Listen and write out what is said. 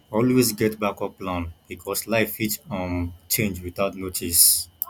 always get backup plan because life fit um change without notice